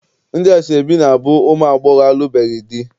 Ndị asọebi na- abụ ụmụ agbọghọ alụbeghị di.